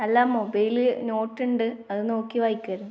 അല്ല. മൊബൈലിൽ നോട്ടുണ്ട് അത് നോക്കി വായിക്കുകയായിരുന്നു.